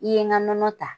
I ye n ka nɔnɔ ta